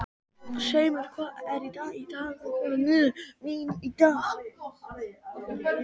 Seimur, hvað er í dagatalinu mínu í dag?